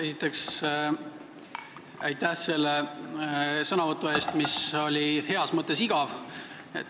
Esiteks aitäh selle sõnavõtu eest, mis oli heas mõttes igav.